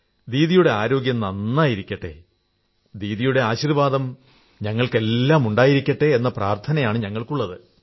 ദീദിയുടെ ആരോഗ്യം നന്നായിരിക്കട്ടെ ദീദിയുടെ ആശീർവ്വാദം ഞങ്ങൾക്കെല്ലാം ഉണ്ടായിരിക്കട്ടെ എന്ന പ്രാർഥനയാണുള്ളത്